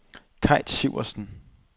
Kaj Sivertsen